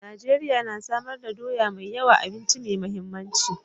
Najeriya na samar da doya mai yawa, abinci mai mahimmanci.